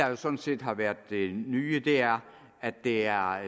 jo sådan set har været det nye er at det er